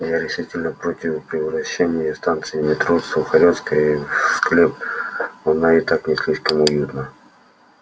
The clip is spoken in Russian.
я решительно против превращения станции метро сухаревская в склеп она и так не слишком уютна